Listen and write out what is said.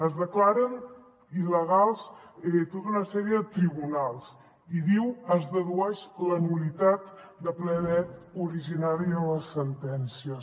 es declaren il·legals tota una sèrie de tribunals i diu es dedueix la nul·litat de ple dret originària de les sentències